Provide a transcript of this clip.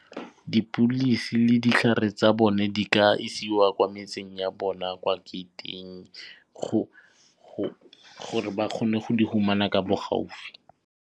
Dipilisi le ditlhare tsa bone di ka isiwa kwa metseng ya bona kwa gate-ing gore ba kgone go di fumana ka bo gaufi.